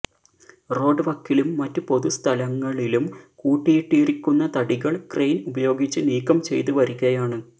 road വക്കിലും മറ്റ് പൊതുസ്ഥലങ്ങളിലും കൂട്ടിയിട്ടിരിക്കുന്ന തടികള് ക്രയിന് ഉപയോഗിച്ച് നീക്കംചെയ്ത് വരികയാണ്